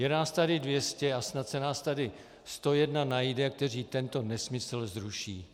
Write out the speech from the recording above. Je nás tady 200 a snad se nás tady 101 najde, kteří tento nesmysl zruší.